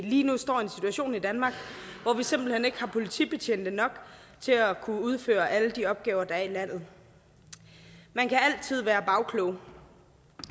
lige nu står i en situation i danmark hvor vi simpelt hen ikke har politibetjente nok til at kunne udføre alle de opgaver der er i landet man kan altid være bagklog